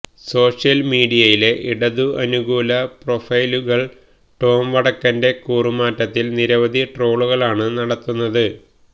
social മീഡിയയിലെ ഇടതു അനുകൂല പ്രോഫൈലുകള് ടോം വടക്കന്റെ കൂറുമാറ്റത്തില് നിരവധി ട്രോളുകളാണ് നടത്തുന്നത്